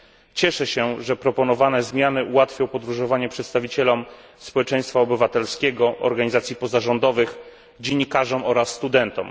Cieszę się, że proponowane zmiany ułatwią podróżowanie przedstawicielom społeczeństwa obywatelskiego, organizacji pozarządowych, dziennikarzom oraz studentom.